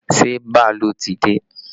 Ṣé bàálù ti dé?